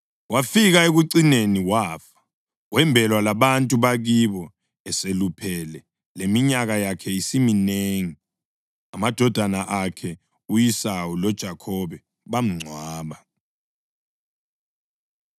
Wafika ekucineni wafa, wembelwa labantu bakibo eseluphele leminyaka yakhe isiminengi. Amadodana akhe u-Esawu loJakhobe bamngcwaba.